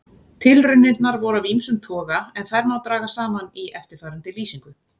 Tilraunirnar voru af ýmsum toga en þær má draga saman í eftirfarandi lýsingu.